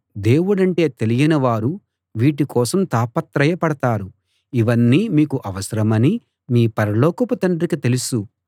దేవుడంటే తెలియని వారు వీటి కోసం తాపత్రయ పడతారు ఇవన్నీ మీకు అవసరమని మీ పరలోకపు తండ్రికి తెలుసు